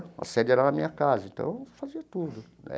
A sede era na minha casa, então fazia tudo.